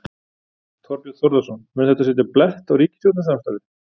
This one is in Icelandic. Þorbjörn Þórðarson: Mun þetta setja blett á ríkisstjórnarsamstarfið?